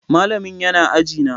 Malamin yana aji na.